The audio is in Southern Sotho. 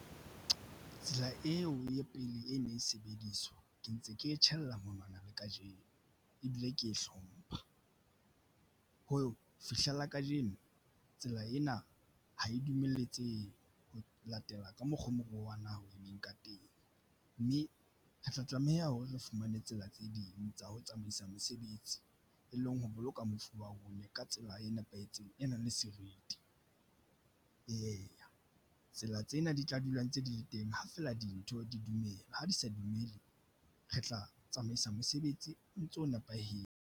Tsela eo ya pele e ne e sebediswa ke ntse ke e tjhaela monwana le kajeno ebile ke hlompha ho fihlella kajeno tsela ena ha e dumelletsehe ho latela ka mokgo moruo wa naha o emeng ka teng mme re tla tlameha hore re fumane tsela tse ding tsa ho tsamaisa mosebetsi e leng ho boloka mofu wa bona ka tsela e nepahetseng e nang le seriti. Eya, tsela tsena di tla dula ntse di le teng ha fela dintho di dumela ha di sa dumele. Re tla tsamaisa mosebetsi o ntso nepahetse.